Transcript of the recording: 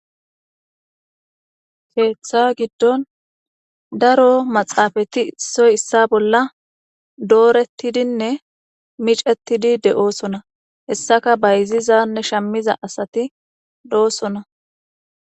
keeththa giddon daro maxaafati issoy issa bolla doorettidinne micettidi de7oosona hessaka bayzizanne shammiza asati doosona